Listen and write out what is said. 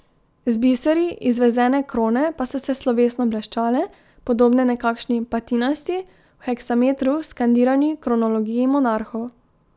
Z biseri izvezene krone pa so se slovesno bleščale, podobne nekakšni patinasti, v heksametru skandirani kronologiji monarhov.